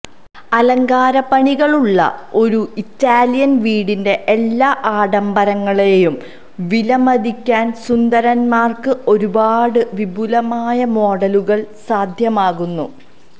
അലങ്കാരപ്പണികളുള്ള ഒരു ഇറ്റാലിയൻ വീടിന്റെ എല്ലാ ആഢംബരങ്ങളെയും വിലമതിക്കാൻ സുന്ദരന്മാർക്ക് ഒരുപാട് വിപുലമായ മോഡലുകൾ സാധ്യമാക്കുന്നു